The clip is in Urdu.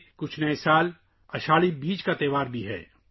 اگلا کچھی نیا سال ہے – آشدھی بیجوں کا تہوار